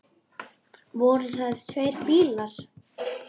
Voru það tveir bílar.